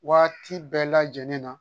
Waati bɛɛ lajɛlen na